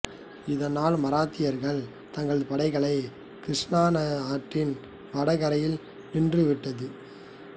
இதனால் மராத்தியர்கள் தங்கள் படைகளை கிருஷ்ணா ஆற்றின் வடகரையில் நின்றுவிட்டது